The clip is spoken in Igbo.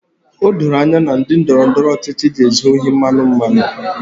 O doro anya na ndị ndọrọ ndọrọ ọchịchị ga-ezu ohi mmanụ mmanụ